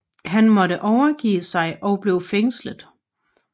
Han måtte overgive sig og blev fængslet